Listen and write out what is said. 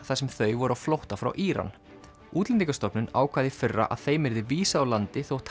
þar sem þau voru á flótta frá Íran Útlendingastofnun ákvað í fyrra að þeim yrði vísað úr landi þótt